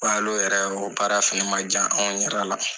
Ko hali o yɛrɛ o baara fana man ja anw yɛrɛ la.